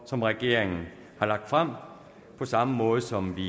som regeringen har lagt frem på samme måde som vi